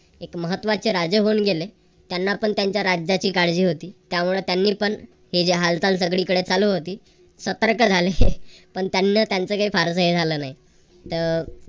एक महत्त्वाचे राजे होऊन गेले. त्यांना पण त्यांच्या राज्याची काळजी होती. त्यामुळे त्यांनी पण ही जी हालचाल सगळीकडे चालू होती. सतर्क झाले. पण त्यांना त्यांच काही फारसं हे झालं नाही. अह